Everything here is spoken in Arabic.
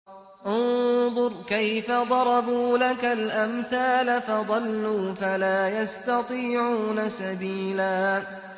انظُرْ كَيْفَ ضَرَبُوا لَكَ الْأَمْثَالَ فَضَلُّوا فَلَا يَسْتَطِيعُونَ سَبِيلًا